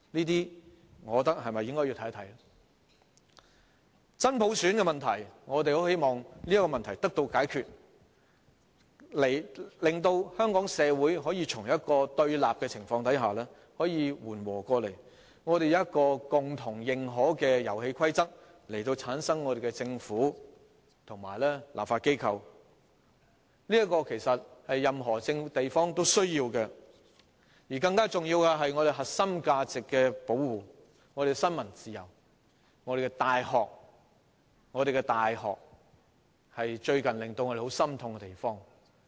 此外，我希望真普選的問題能夠得到解決，令香港社會可以從對立的情況緩和下來，採用一套共同認可的遊戲規則，產生我們的政府和立法機關，這是任何一個地方也需要的，而更重要的是，我們必須保護我們的核心價值、我們的新聞自由、我們的大學——我們的大學最近令我們感到十分心痛。